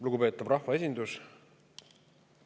Lugupeetav rahvaesindus!